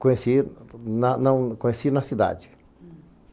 Conheci na na conheci na cidade.